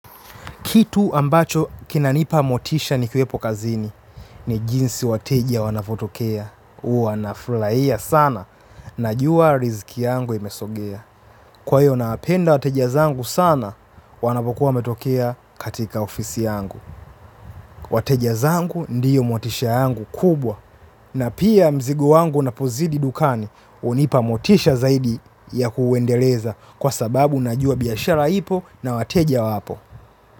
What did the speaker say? Kitu ambacho kinanipa motisha nikiwepo kazini ni jinsi wateja wanavotokea. Uwa nafulaia sana najuwa riziki yangu imesogea. Kwa hiyo nawapenda wateja zangu sana, wanavokuwa wametokea katika ofisi yangu. Wateja zangu ndiyo motisha yangu kubwa na pia mzigo wangu unapozidi dukani unipa motisha zaidi ya kuendeleza kwa sababu najua biashara ipo na wateja wapo.